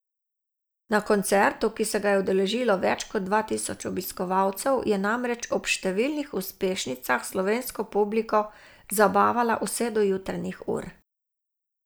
Na koncertu, ki se ga je udeležilo več kot dva tisoč obiskovalcev, je namreč ob številnih uspešnicah slovensko publiko zabavala vse do jutranjih ur.